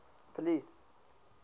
police